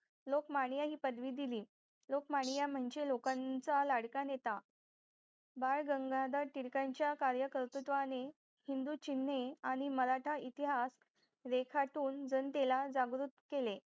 लोकमान्य ही पदवी दिली लोकमान्य म्हणजे लोकांचा लाडका नेता बाळ गंगाधर टिळकांच्या कार्य कर्तृत्वाने हिंदू चिन्हे आणि मराठा इतिहास रेखाटून जनतेला जागृत केले